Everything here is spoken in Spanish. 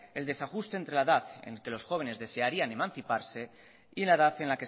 el desajuste entre la edad en que los jóvenes desearían emanciparse y la edad en